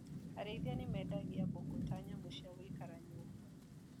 Arĩithia mendagia mbũkũ ta nyamũ ciagũikara nyumba.